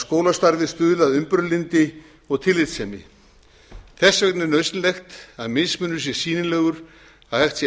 skólastarfið stuðli að umburðarlyndi og tillitssemi þess vegna er nauðsynlegt að mismunur sé sýnilegur að hægt sé að